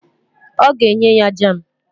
Ọ ga-enye ya jam